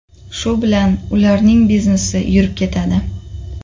Shu bilan ular biznesi yurib ketadi.